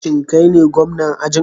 Shin kai ne gwamna ajin?